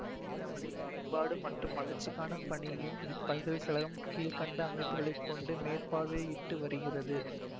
கணித்தமிழின் மேம்பாடு மற்றும் வளர்ச்சிக்கானப் பணியும் இப்பல்கலைக்கழகம் கீழ்கண்ட அமைப்புகளைக் கொண்டு மேற்பார்வையிட்டு வருகிறது